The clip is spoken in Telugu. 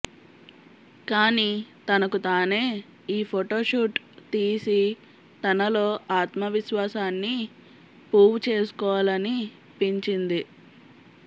కానీ తనకు తానె ఈ ఫోటో షూట్ తీసి తనలో ఆత్మవిశ్వాసాన్ని పూవ్ చేసుకోవాలనిపించింది